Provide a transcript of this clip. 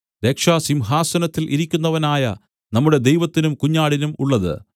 രക്ഷ സിംഹാസനത്തിൽ ഇരിക്കുന്നവനായ നമ്മുടെ ദൈവത്തിനും കുഞ്ഞാടിനും ഉള്ളത്